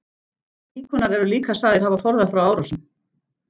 Íkonar eru líka sagðir hafa forðað frá árásum.